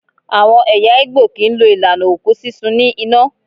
Àwọn ẹ̀yà Igbo kì í lo ìlànà òkú sísun ní iná.